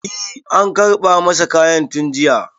e an karɓa masa kayan tun jiya